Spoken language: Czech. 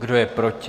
Kdo je proti?